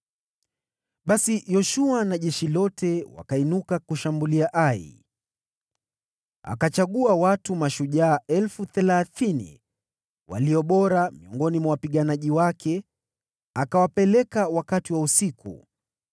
Basi Yoshua na jeshi lote wakainuka kushambulia Ai. Akachagua watu mashujaa elfu thelathini walio bora miongoni mwa wapiganaji wake, akawapeleka wakati wa usiku